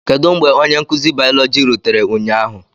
Kedu mgbe onye nkuzi biology rutere ụnyahụ?